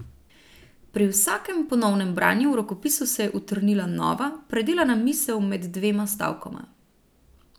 Pri vsakem ponovnem branju v rokopisu se je utrnila nova, predelana misel med dvema stavkoma.